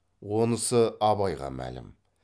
онысы абайға мәлім